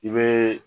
I bɛ